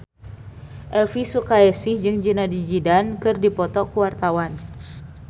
Elvy Sukaesih jeung Zidane Zidane keur dipoto ku wartawan